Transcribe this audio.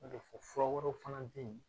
N'o tɛ fɔ fura wɛrɛw fana bɛ yen